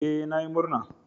Ee, na yi murna.